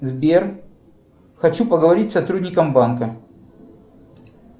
сбер хочу поговорить с сотрудником банка